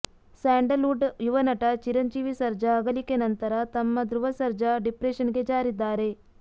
Sandalwood ಯುವನಟ ಚಿರಂಜೀವಿ ಸರ್ಜಾ ಅಗಲಿಕೆ ನಂತರ ತಮ್ಮ ಧ್ರುವ ಸರ್ಜಾ ಡಿಪ್ರೆಶನ್ಗೆ ಜಾರಿದ್ದಾರೆ